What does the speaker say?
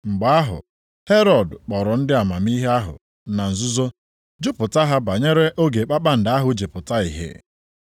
Mgbe ahụ Herọd kpọrọ ndị amamihe ahụ na nzuzo jụpụta ha banyere oge kpakpando ahụ ji pụta ìhè.